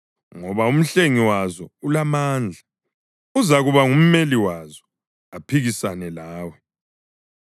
ngoba uMhlengi wazo ulamandla; uzakuba ngumeli wazo aphikisane lawe.